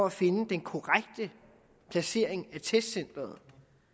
at finde den korrekte placering af testcenteret